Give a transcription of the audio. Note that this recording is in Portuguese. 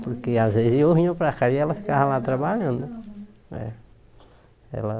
Porque às vezes eu vinha para cá e ela ficava lá trabalhando. É ela